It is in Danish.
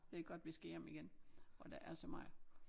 Det er godt vi skal hjem igen hvor der er så meget